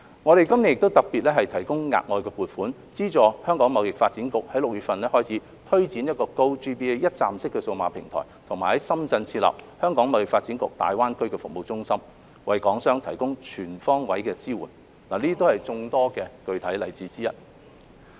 我們今年亦特別提供額外撥款，資助香港貿易發展局在6月份推展 "GoGBA" 一站式數碼平台及在深圳設立"香港貿發局大灣區服務中心"，為港商提供全方位支援，這些都是眾多具體例子之一。